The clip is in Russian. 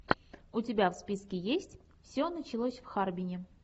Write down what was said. у тебя в списке есть все началось в харбине